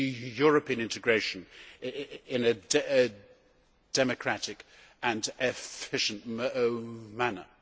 European integration in a democratic and efficient manner.